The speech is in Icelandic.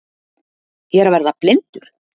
Ég er að verða blindur!